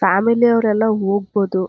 Family ಅವರು ಎಲ್ಲ ಹೋಗ್ಬೋದು.